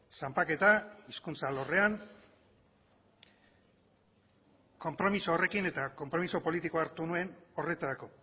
zanpaketa hizkuntza alorrean konpromiso horrekin eta konpromiso politikoa hartu nuen horretarako